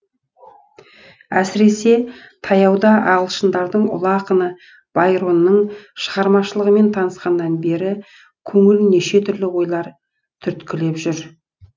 әсіресе таяуда ағылшындардың ұлы ақыны байронның шығармашылығымен танысқаннан бері көңілін неше түрлі ойлар түрткілеп жүр